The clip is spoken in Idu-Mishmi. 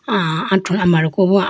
ah ha thru amariku bo ha.